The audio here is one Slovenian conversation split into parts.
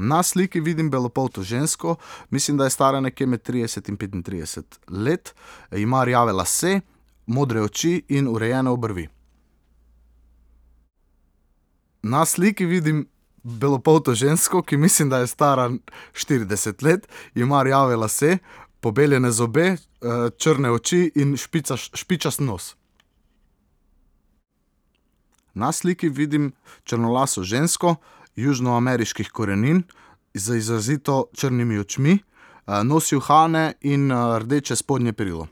Na sliki vidim belopolto žensko, mislim, da je stara nekje med trideset in petintrideset let. Ima rjave lase, modre oči in urejene obrvi. Na sliki vidim belopolto žensko, ki mislim, da je stara štirideset let. Ima rjave lase, pobeljene zobe, črne oči in špičast nos. Na sliki vidim črnolaso žensko južnoameriških korenin z izrazito črnimi očmi. nosi uhane in, rdeče spodnje perilo.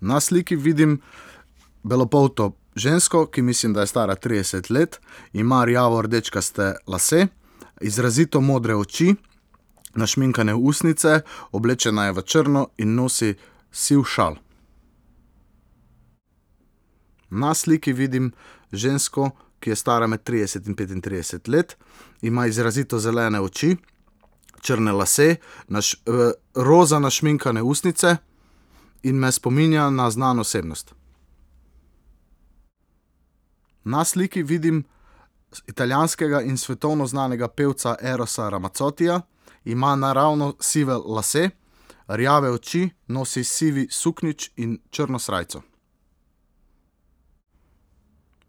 Na sliki vidim belopolto žensko, ki mislim, da je stara trideset let. Ima rjavordečkaste lase, izrazito modre oči, našminkane ustnice, oblečena je v črno in nosi siv šal. Na sliki vidim žensko, ki je stara med trideset in petintrideset let. Ima izrazito zelene oči, črne lase, roza našminkane ustnice in me spominja na znano osebnost. Na sliki vidim italijanskega in svetovno znanega pevca Erosa Ramazzottija. Ima naravno sive lase, rjave oči, nosi siv suknjič in črno srajco.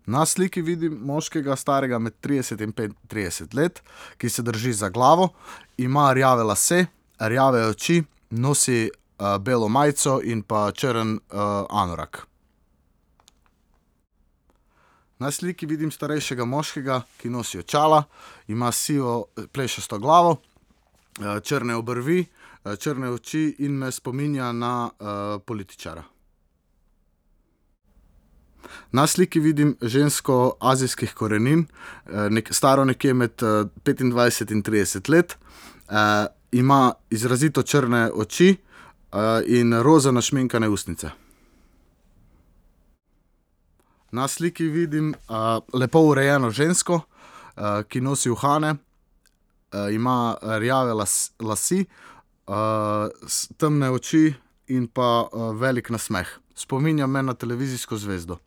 Na sliki vidim moškega, starega med trideset in petintrideset let, ki se drži za glavo. Ima rjave lase, rjave oči, nosi, belo majico in pa črn, anorak. Na sliki vidim starejšega moškega, ki nosi očala. Ima sivo plešasto glavo, črne obrvi, črne oči in me spominja na, političara. Na sliki vidim žensko azijskih korenin, staro nekje med, petindvajset in trideset let, ima izrazito črne oči, in, roza našminkane ustnice. Na sliki vidim, lepo urejeno žensko, ki nosi uhane, ima rjave lase, temne oči in pa, velik nasmeh. Spominja me na televizijsko zvezdo.